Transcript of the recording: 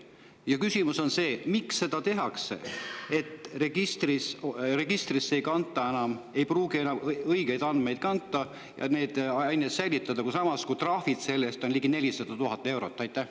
Ja küsimus on see: miks seda tehakse, et registrisse ei pruugita enam kanda õigeid andmeid ja andmeid säilitada, samas kui trahvid selle eest on ligi 400 000 eurot?